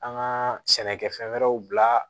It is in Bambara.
An ka sɛnɛkɛfɛn wɛrɛw bila